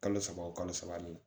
Kalo saba o kalo saba nin na